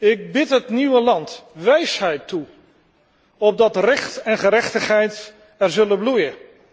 Ik bid het nieuwe land wijsheid toe, opdat recht en gerechtigheid er zullen bloeien.